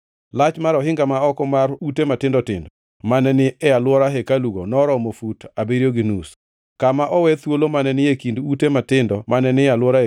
Lach mar ohinga ma oko mar ute matindo tindo mane ni e alwora hekalugo noromo fut abiriyo gi nus. Kama owe thuolo mane ni e kind ute matindo mane ni e alwora hekalu